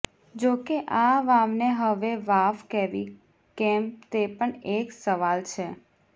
જો કે આ વાવને હવે વાવ કહેવી કેમ તે પણ એક સવાલ છે